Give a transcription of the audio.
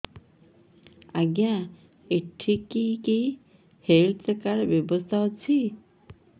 ଆଜ୍ଞା ଏଠି କି କି ହେଲ୍ଥ କାର୍ଡ ବ୍ୟବସ୍ଥା ଅଛି